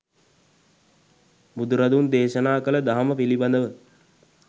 බුදුරදුන් දේශනා කළ දහම පිළිබඳව